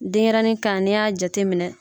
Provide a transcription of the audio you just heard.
Denyɛrɛnin kan n'i y'a jateminɛ